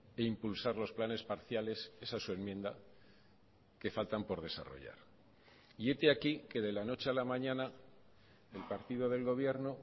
e impulsar los planes parciales esa es su enmienda que faltan por desarrollar y hete aquí que de la noche a la mañana el partido del gobierno